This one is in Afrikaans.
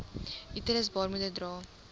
uterus baarmoeder dra